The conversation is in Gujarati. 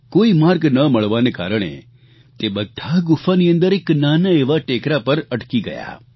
કોઇ માર્ગ ન મળવાને કારણે તે બધા ગુફાની અંદર એક નાના એવા ટેકરા પર અટકી ગયા